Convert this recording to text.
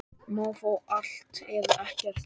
Má fá allt, eða ekkert.